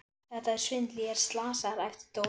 Þetta er svindl, ég er slasaður! æpti Dóri.